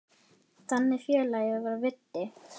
Þannig félagi var Viddi.